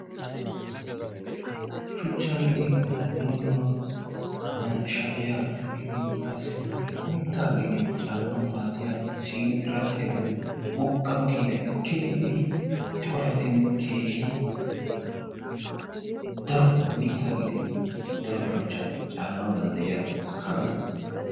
Shuchcha gidin dumma dumma shafiyaa gidin qassi mitta gidin caananw maaddiyaa siino tiraakiyaa giyoo wogga makkinay keehin corayddinne keehin daro mitta gidin daro shuchchata caananaw danddayiyya kaamiyaa.